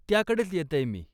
त्याकडेच येतय मी.